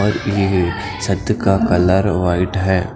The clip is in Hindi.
और ये गई छत्त का कलर वाइट हैं।